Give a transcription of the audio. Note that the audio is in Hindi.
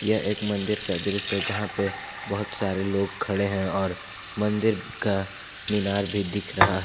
यह एक मंदिर का दृश्य है जहां पे बहुत सारे लोग खड़े है और मंदिर का मीनार भी दिख रहा है।